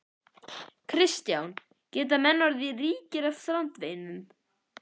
Kristján: Geta menn orðið ríkir af strandveiðunum?